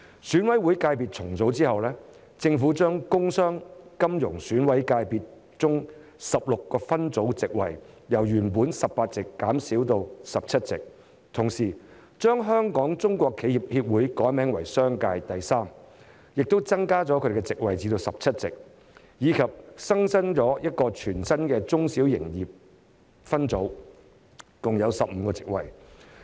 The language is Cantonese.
選委會界別重組後，政府將工商、金融選委界別中的16個界別分組的部分席位，由原本的18席減少至17席，同時將香港中國企業協會改名為商界，並增加其席位至17席；以及新增一個全新的中小企業界分組，共有15個席位。